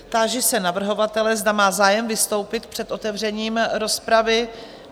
Táži se navrhovatele, zda má zájem vystoupit před otevřením rozpravy?